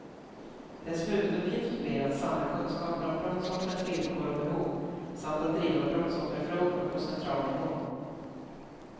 Dess huvuduppgift blir att samla kunskaper om brottsoffrens villkor och behov samt att driva brottsofferfrågor på central nivå.